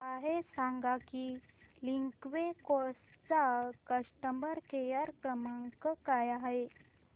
मला हे सांग की लिंकवे कार्स चा कस्टमर केअर क्रमांक काय आहे